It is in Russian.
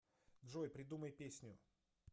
джой придумай песню